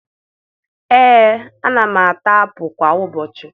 Ee, ana m ata apụ kwa ụbọchị